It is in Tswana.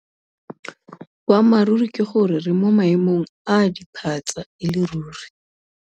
Boammaruri ke gore re mo maemong a a diphatsa e le ruri.